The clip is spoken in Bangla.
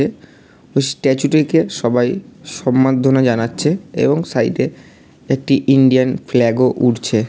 স্ট্যাচু টিকে সবাই সম্মাধনা জানাচ্ছে এবং সাইড এ একটি ইন্ডিয়ান ফ্ল্যাগ ও উড়ছে ।